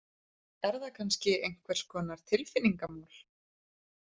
Er það kannski einhvers konar tilfinningamál?